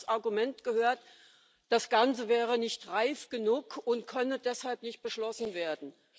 Nun habe ich als Argument gehört Das Ganze sei nicht reif genug und könne deshalb nicht beschlossen werden.